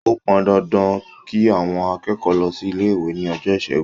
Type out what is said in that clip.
Ó pọn dandan kí àwọn akẹ́kọ̀ọ́ lọ sí ilé-ìwé ní ọjọ́ Ìṣẹ́gun.